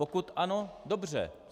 Pokud ano, dobře.